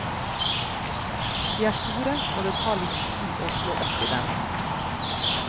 De er store, og det tar litt tid å slå opp i dem.